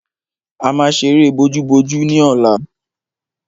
A máa ṣeré bojúbojú ní ọ̀la.